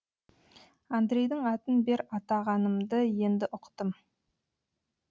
андрейдің атын бер атағанымды енді ұқтым